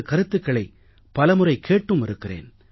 கருத்துக்களை பலமுறை கேட்டும் இருக்கிறேன்